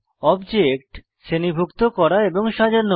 object শ্রেণীভুক্ত করা এবং সাজানো